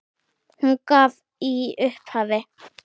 Hún gaf í upphafi